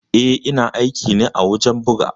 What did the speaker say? Eh ina aiki ne a wajen buga.